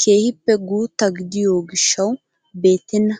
keehippe guutta gidiyoo giishshawu beettena.